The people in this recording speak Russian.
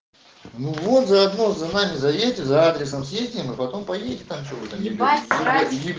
ну вот заодно за нами заедьте за адресом съездим и потом поедем там че вы там ебать срать иди блять